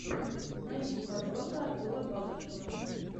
найди подборка артура багушева